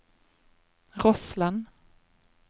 Rossland